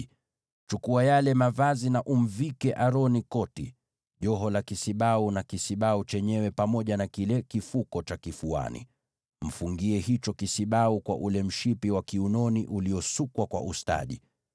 Chukua yale mavazi na umvike Aroni koti, joho la kisibau na kisibau chenyewe pamoja na kile kifuko cha kifuani. Mfungie hicho kisibau kwa ule mshipi wa kiunoni uliosukwa kwa ustadi.